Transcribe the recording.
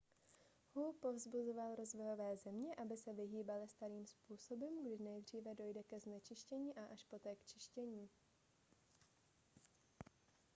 hu povzbuzoval rozvojové země aby se vyhýbaly starým způsobům kdy nejdříve dojde ke znečištění a až poté k čištění